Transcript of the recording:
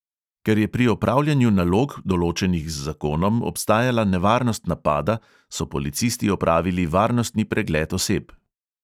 Ker je pri opravljanju nalog, določenih z zakonom, obstajala nevarnost napada, so policisti opravili varnostni pregled oseb.